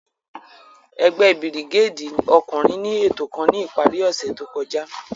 Ẹgbẹ birigédi ọkunrin ni eto kan ni ipari ose to kọja.